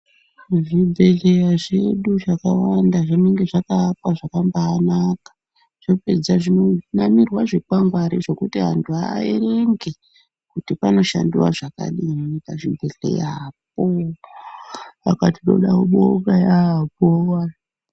Zvibhedhleya zvedu zvakawanda zvakaakwa zvakambanaka zvapedza zvinonamirwa zvikwangwari zvekuti antu aerenge kuti panoshandiwa zvakadini pazvibhebhedhleyapo. Saka tinoda kubonga yambo.